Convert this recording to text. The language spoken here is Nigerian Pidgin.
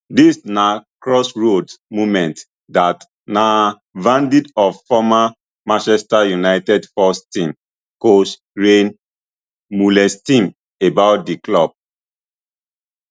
dis na crossroads moment dat na verdict of former manchester united first team coach rene meulensteen about di club